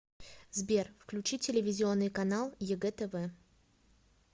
сбер включи телевизионный канал егэ тв